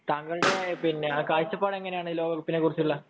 താങ്കളുടെ കാഴ്ചപ്പാട് എങ്ങനെയാണ് ലോകകപ്പിനെക്കുറിച്ചുള്ള